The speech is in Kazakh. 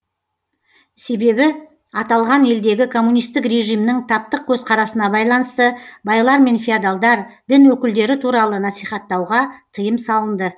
себебі аталған елдегі коммунистік режимнің таптық көзқарасына байланысты байлар мен феодалдар дін өкілдері туралы насихаттауға тыйым салынды